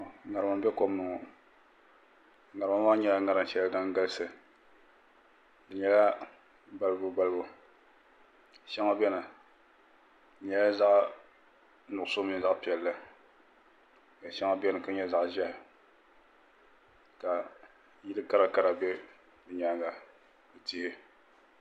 niraba ayi nyɛla ban ʒiya ka ninvuɣu yinga yɛ daliya ka di nyɛ ka zaɣ ʒiɛ laasabu o nyɛla ŋun zaŋ hankachiiti zaɣ piɛlli laasabu n gobi o zuɣu ka kuriti laasabu bɛ ni nyaanga